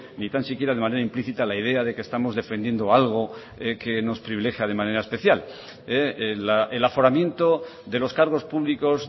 ni tan siquiera de manera implícita la idea de que estamos defendiendo algo que nos privilegia de manera especial el aforamiento de los cargos públicos